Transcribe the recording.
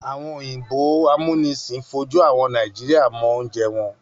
Àwọn òyìnbó amúnisìn fojú àwọn Nàìjíríà mọ oúnjẹ wọn.